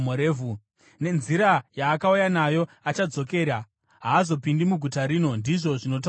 Nenzira yaakauya nayo achadzokera, haazopindi muguta rino, ndizvo zvinotaura Jehovha.